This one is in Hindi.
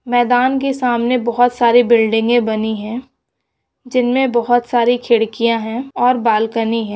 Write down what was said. मैदान के सामने बहुत सारे बिल्डिंगे बनी है जिनमें बहुत सारी खिड़कियां हैंऔर बालकनी है।